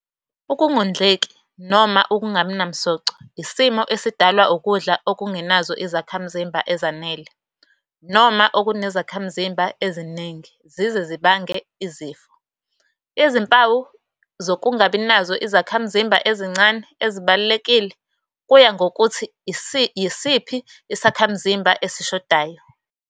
Ukungondleki noma Ukungabi namsoco isimo esidalwa ukudla okungenazo izakhimzimba ezanele noma okunezakhamzimba eziningi zize zibange izifo. Izimpawu zokungabi nazo izakhamzimba ezincane ezibalulekile kuya ngokuthi yisiphi isakhamzimba esishodayo.